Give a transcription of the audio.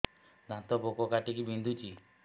ଦାନ୍ତ ପୋକ କାଟିକି ବିନ୍ଧୁଛି